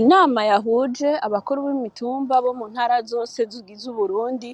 Inama yahuje abakuru b’imitumba bo mu ntara zose zigize uburundi